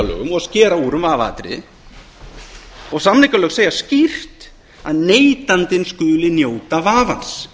og skera úr um vafaatriði og samningalög segja skýrt að neytandinn skuli njóta vafans